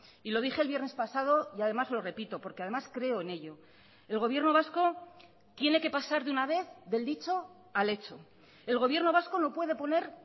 y lo dije el viernes pasado y además lo repito porque además creo en ello el gobierno vasco tiene que pasar de una vez del dicho al hecho el gobierno vasco no puede poner